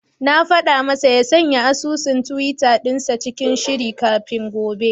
Na faɗa masa ya sanya asusun tiwita dinsa cikin shiri kafin gobe.